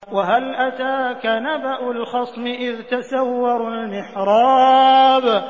۞ وَهَلْ أَتَاكَ نَبَأُ الْخَصْمِ إِذْ تَسَوَّرُوا الْمِحْرَابَ